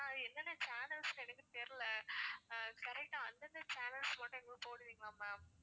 ஆனா அது என்னென்ன channels ன்னு எனக்கு தெரியல correct ஆ அந்தந்த channels மட்டும் எங்களுக்கு போடுவீங்களா ma'am